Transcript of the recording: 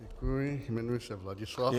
Děkuji, jmenuji se Vladislav.